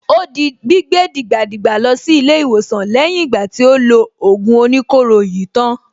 Ó di gbígbé dìgbàdìgbà lọ sí ilé-ìwòsàn lẹ́yìn ìgbà tí ó lo ògùn oníkóro yìí tán.